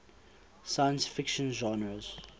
science fiction genres